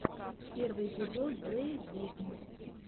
первый эпизод зе викнд